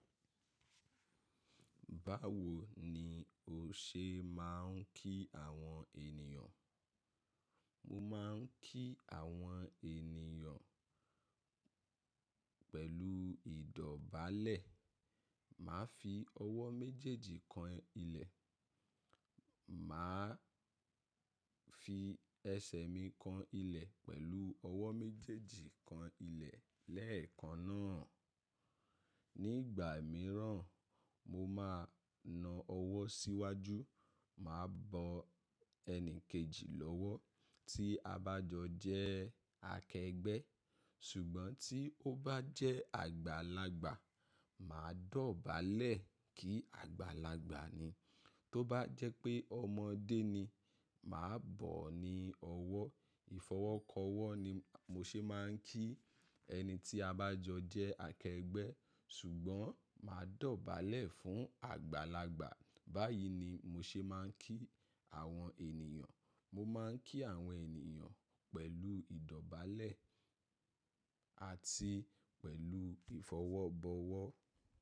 Báwo ni o ṣe máà ń kí àwọn ènìyàn? Mo máa ń kí àwọn ènìyàn pẹ̀lú ìdọ̀bálẹ̀. Màá fi ọwọ́ méjèèjì kan ilẹ̀. Mà á fi ẹsẹ̀ mi kan ilẹ̀ pẹ̀lú ọwọ́ méjèèjì kan ilẹ̀ lẹ́ẹ̀kan náà. Ní ìgbà mìíràn, mo máa na ọwọ́ síwájú. Mà á bọ ẹnì kejì lọ́wọ́́ tí a bá jọ jẹ́ akẹgbẹ́. Ṣùgbọ́n tí ó bá jẹ́ àgbàlagbà, mà á dọ̀bálẹ̀ kí àgbàlagbà ni. Tó bá jẹ́ pé ọmọdé ni, mà á bọ̀ ọ́ ní ọwọ́. Ìfọwọ́kọwọ́ ni mo ṣe máà ń kí ẹni tí a bá jọ jẹ́ akẹgbẹ́. Ṣùgbọ́n mà á dọ̀bálẹ̀ fún àgbàlagbà. Báyìí ni mo ṣe máà ń kí àwọn ènìyàn. Mo máa ń kí àwọn ènìyàn pẹ̀lú ìdọ̀bálẹ̀ àti pẹ̀lú ìfọwọ́bọwọ́.